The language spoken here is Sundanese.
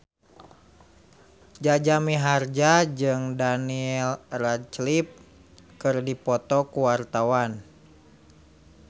Jaja Mihardja jeung Daniel Radcliffe keur dipoto ku wartawan